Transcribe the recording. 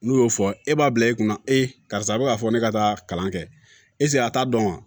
N'u y'o fɔ e b'a bila e kunna karisa a bɛ k'a fɔ ne ka taa kalan kɛ a t'a dɔn wa